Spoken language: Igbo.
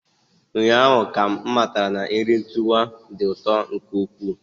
Ụnyaahụ ka m matara na nri tuwo dị ụtọ nke ukwuu.